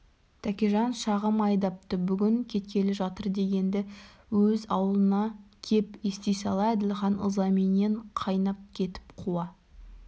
тәкежан шағым айдапты бүгін кеткелі жатыр дегенді өз аулына кеп ести сала әділхан ызаменен қайнап кетіп қуа